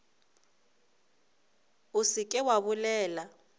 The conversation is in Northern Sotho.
o se ke wa bolela